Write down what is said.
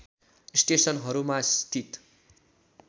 स्टेसनहरूमा स्थित